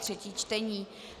třetí čtení